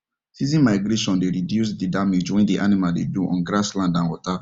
season migration dey reduced the damage when the animal dey do on grass land and water